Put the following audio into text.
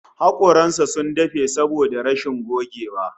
Hakoran sa sun dafe saboda rashin gogewa